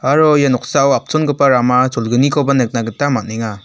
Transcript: aro ia noksao apchongipa rama cholgnikoba nikna gita man·enga.